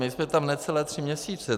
My jsme tam necelé tři měsíce.